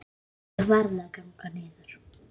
Ég varð að ganga niður